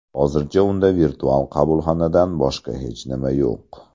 Hozircha unda virtual qabulxonadan boshqa hech nima yo‘q.